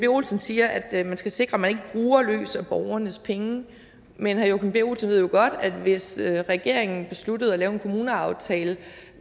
olsen siger at man skal sikre at man ikke bruger løs af borgernes penge men herre joachim b olsen ved jo godt at hvis regeringen besluttede at lave en kommuneaftale